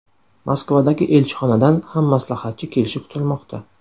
Moskvadagi elchixonadan ham maslahatchi kelishi kutilmoqda.